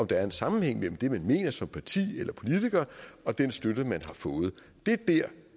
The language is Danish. der er en sammenhæng mellem det man mener som parti eller politiker og den støtte man har fået det er der